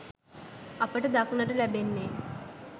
අපට දක්නට ලැබෙන්නේ